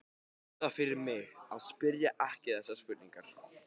Gerðu það fyrir mig að spyrja ekki þessarar spurningar